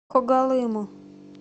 когалыму